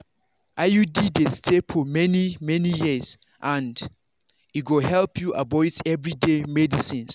iud dey stay for many-many years and e go help you avoid everyday medicines.